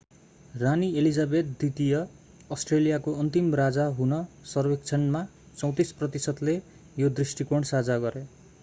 रानी elizabeth द्वितीय अष्ट्रेलियाको अन्तिम राजा हुन सर्वेक्षणमा 34 प्रतिशतले यो दृष्टिकोण साझा गरे